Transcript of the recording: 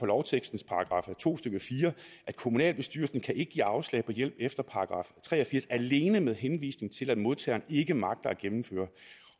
lovtekstens § to stykke fire at kommunalbestyrelsen ikke kan give afslag på hjælp efter § tre og firs alene med henvisning til at modtageren ikke magter at gennemføre